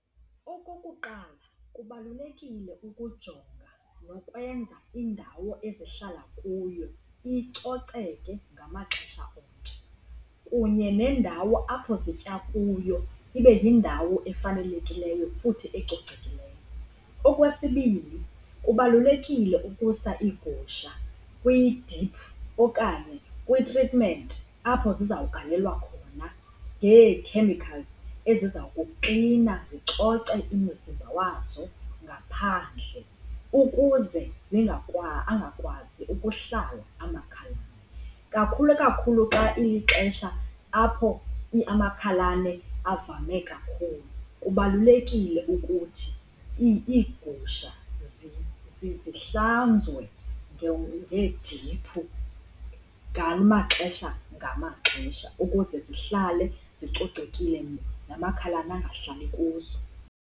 Okokuqala, kubalulekile ukujonga nokwenza indawo ezihlala kuyo icoceke ngamaxesha onke kunye nendawo apho zitya kuyo ibe yindawo efanelekileyo futhi ecocekileyo. Okwesibini, kubalulekile ukusa iigusha kwidiphu okanye kwitritmenti apho zizawugalelwa khona ngeekhemikhalzi eziza kuklina zicoce imizimba wazo ngaphandle ukuze angakwazi ukuhlala amakhalane. Kakhulu kakhulu xa ilixesha apho amakhalane avame kakhulu kubalulekile ukuthi iigusha zihlanzwe ngeediphu ngamaxesha ngamaxesha ukuze zihlale zicocekile namakhalane angahlali kuzo.